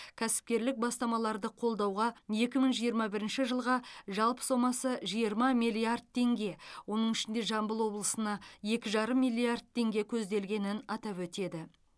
кәсіпкерлік бастамаларды қолдауға екі мың жиырма бірінші жылға жалпы сомасы жиырма миллиард теңге оның ішінде жамбыл облысына екі жарым миллиард теңге көзделгенін атап өтеді